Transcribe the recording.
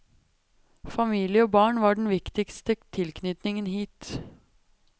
Familie og barn var den viktigste tilknytningen hit.